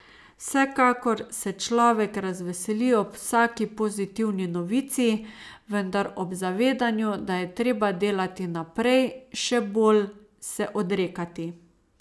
Vsekakor se človek razveseli ob vsaki pozitivni novici, vendar ob zavedanju, da je treba delati naprej, še bolj, se odrekati ...